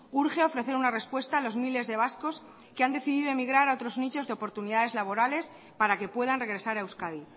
urge ofrecer una respuesta a los miles de vascos que han decidido emigrar a otros nichos de oportunidades laborales para que puedan regresar a euskadi